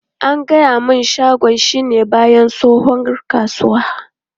An gaya mun shagon shi na bayan tsohuwar kasuwa.